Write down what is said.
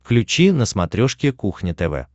включи на смотрешке кухня тв